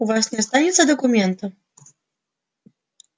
у вас не останется документа